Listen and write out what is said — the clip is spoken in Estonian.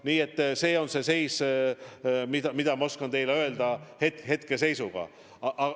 Nii et seda ma oskan teile hetkeseisu kohta öelda.